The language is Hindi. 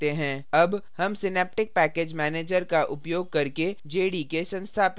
अब हम synaptic package manager का उपयोग करके jdk संस्थापित करेंगे